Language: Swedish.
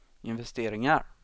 investeringar